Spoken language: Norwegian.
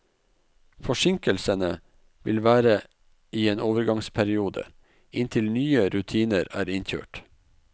Forsinkelsene vil være i en overgangsperiode, inntil nye rutiner er innkjørt.